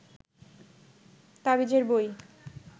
তাবিজের বই